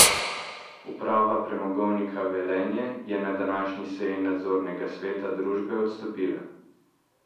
Uprava Premogovnika Velenje je na današnji seji nadzornega sveta družbe odstopila.